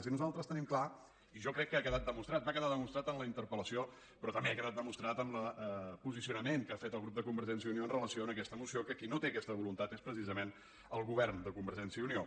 i nosaltres tenim clar i jo crec que ha quedat demostrat va quedar demostrat en la interpel·lació però també ha quedat demostrat amb el posicionament que ha fet el grup de convergència i unió amb relació a aquesta moció que qui no té aquesta voluntat és precisament el govern de convergència i unió